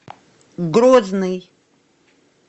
грозный